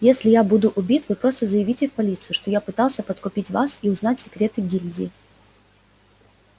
если я буду убит вы просто заявите в полицию что я пытался подкупить вас и узнать секреты гильдии